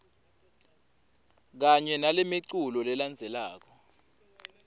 kanye nalemiculu lelandzelako